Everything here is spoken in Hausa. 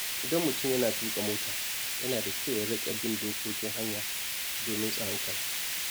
Idan mutum yana tuka mota, yana da kyau ya riƙa bin dokokin hanya domin tsaron kansa.